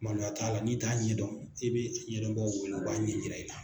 Maloya t'a la n'i t'a ɲɛdɔn i bɛ ɲɛdɔbaaw wele u b'a ɲɛyira i la.